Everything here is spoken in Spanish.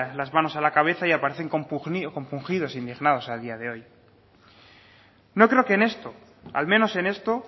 las manos a la cabeza y aparecen compungidos indignados a día de hoy no creo que en esto al menos en esto